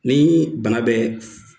Ni bana bɛ